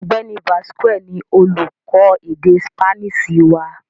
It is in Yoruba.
Ọ̀gbẹ́ni Vazquez ni olúkọ́ èdè Sípáníìṣì wà